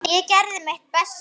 Ég gerði mitt besta.